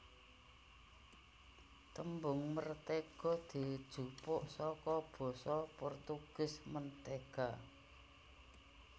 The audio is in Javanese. Tembung mertéga dijupuk saka basa Portugis manteiga